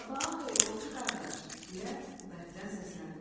Sabahın xeyir, ovçu qardaş, deyə o bərkdən səsləndi.